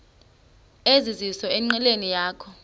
ezizizo enqileni yakho